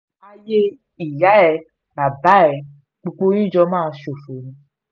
ayé ìyá ẹ bàbá ẹ gbogbo yín jọ máa ṣófo ni